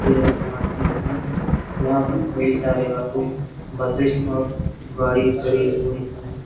ये एक मार्केट है यहाँ पर कई सारे ऑटो बसेस और गाड़ी खड़ी हुई है |